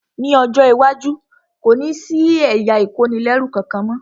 Ní ọjọ́ iwájú, kò ní sí ẹ̀yà ìkónilẹ́rú kankan mọ́